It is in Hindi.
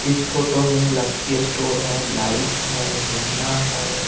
इस फ़ोटो में लक्की स्टोर है लाइट गहना है।